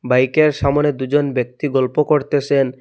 বাইকের সামোনে দুজন ব্যক্তি গল্প করতেসেন।